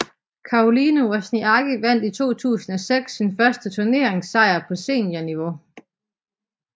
Caroline Wozniacki vandt i 2006 sin første turneringssejr på seniorniveau